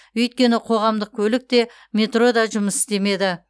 өйткені қоғамдық көлік те метро да жұмыс істемеді